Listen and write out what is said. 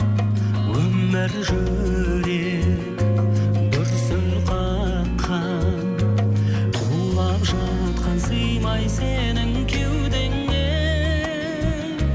өмір жүрек дүрсіл қаққан тулап жатқан сыймай сенің кеудеңе